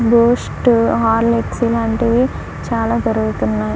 Boost Horlicks ఇలాంటివి చాలా దొరుకుతున్నాయి.